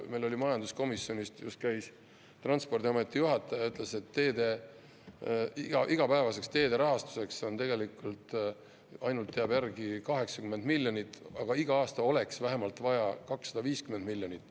Meil majanduskomisjonis just käis Transpordiameti juhataja, ütles, et igapäevaseks teede rahastuseks ainult jääb järgi 80 miljonit, aga iga aasta oleks vaja vähemalt 250 miljonit.